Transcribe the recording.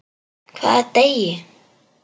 Hvaða degi?